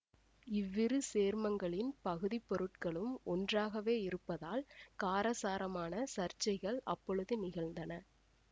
இவ்விரு சேர்மங்களின் பகுதிப்பொருட்களும் ஒன்றாகவே இருப்பதால் காரசாரமான சர்ச்சைகள் அப்பொழுது நிகழ்ந்தன